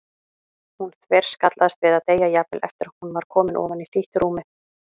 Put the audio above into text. Hún þverskallaðist við að deyja, jafnvel eftir að hún var komin ofan í hlýtt rúmið.